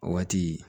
O waati